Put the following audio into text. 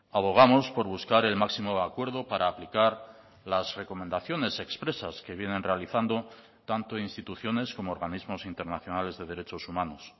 abogamos por buscar el máximo acuerdo para aplicar las recomendaciones expresas que vienen realizando tanto instituciones como organismos internacionales de derechos humanos